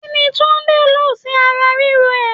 Kini Túndé lọ sí ara ríro ẹ?